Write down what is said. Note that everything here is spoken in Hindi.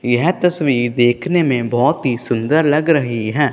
यह तस्वीर देखने में बहुत ही सुंदर लग रही हैं।